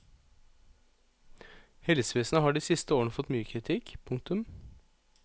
Helsevesenet har de siste årene fått mye kritikk. punktum